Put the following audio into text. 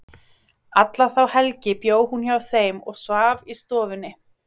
Alla þá helgi bjó hún hjá þeim og svaf í stofunni.